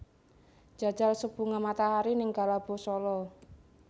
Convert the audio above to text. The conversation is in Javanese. Njajal sup bunga matahari ning Galabo Solo